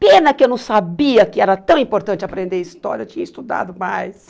Pena que eu não sabia que era tão importante aprender história, eu tinha estudado mais.